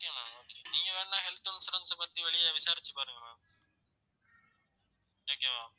okay ma'am okay நீங்க வேணா health insurance அ பத்தி வெளிய விசாரிச்சு பாருங்க ma'am okay வா